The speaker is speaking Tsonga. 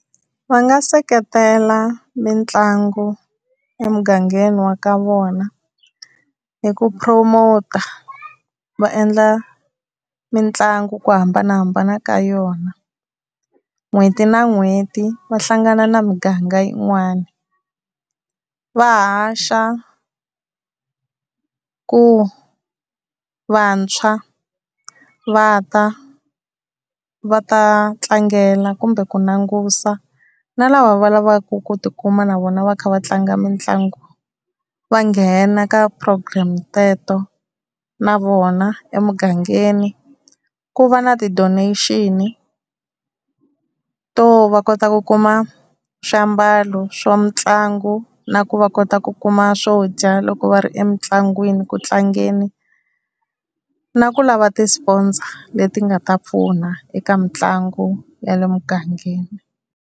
Va nga seketela mitlangu emugangeni wa ka vona hi ku promote va endla mitlangu hi ku hambanahambana ka yona n'hweti na n'hweti va hlangana na muganga yin'wana va haxa ku vantshwa va ta va ta tlangela, kumbe ku langusa na lava va lavaku ku tikuma na vona va kha va tlanga mitlangu va nghena ka ti-program teto na vona, emugangeni ku va na ti-donation-i to va kota ku kuma swiambalo swa mitlangu na ku va kota ku kuma swo dya loko va ri emitlangwini ku tlangeni, na ku lava tisponza leti nga ta pfuna eka mitlangu ya le mugangeni.